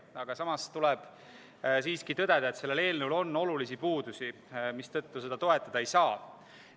Aga samas tuleb siiski tõdeda, et sellel eelnõul on olulisi puudusi, mistõttu seda toetada ei saa.